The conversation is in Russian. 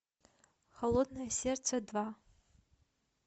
холодное сердце два